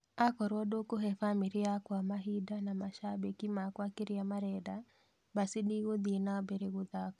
akorwo ndikube bamiri yakwa mabinda na mashabiki makwa kiria marenda basi ndikuthii na mbele kuthaka